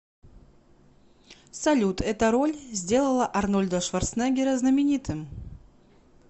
салют эта роль сделала арнольда шварценеггера знаменитым